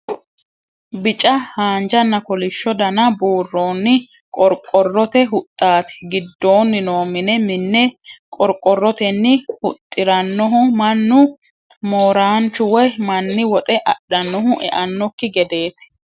Bicca haanjanna kolisho dana buuronni qoriqorote huxxanna gidooni noo mine , mine qoriqorotenni huxiranohu manu mooranchu woyi mani woxxe adhanohu e'anokki gedeeti